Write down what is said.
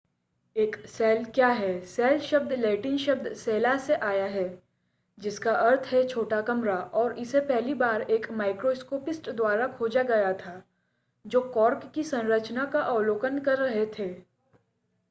एक सेल क्या है सेल शब्द लैटिन शब्द cella से आया है जिसका अर्थ है छोटा कमरा और इसे पहली बार एक माइक्रोस्कोपिस्ट द्वारा खोजा गया था जो कॉर्क की संरचना का अवलोकन कर रहे थे